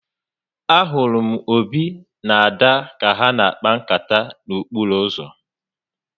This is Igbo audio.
A hụrụ m Obi na Ada ka ha n'akpa nkata n'okporo uzo